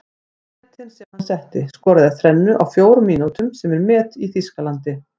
Metin sem hann setti:- Skoraði þrennu á fjórum mínútum sem er met í Þýskalandi.